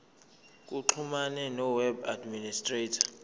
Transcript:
baxhumane noweb administrator